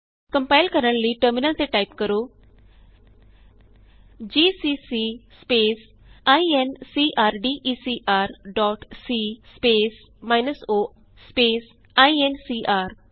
compile ਕਰਨ ਲਈ terminal ਤੇ ਟਾਈਪ ਕਰੋ GCC space incrdecr dot c space minus o space INCR